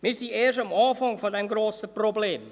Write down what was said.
Wir sind erst am Anfang dieses grossen Problems.